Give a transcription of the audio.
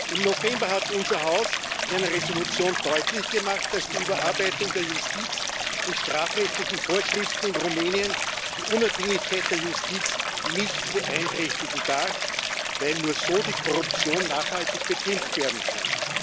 Im November hat unser Haus in einer Entschließung deutlich gemacht, dass die Überarbeitung der Justiz und strafrechtlichen Vorschriften in Rumänien die Unabhängigkeit der Justiz nicht beeinträchtigen darf, weil nur so die Korruption nachhaltig bekämpft werden kann.